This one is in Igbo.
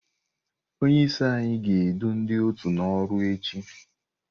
Onye isi anyị ga-edu ndị òtù n'ọrụ echi.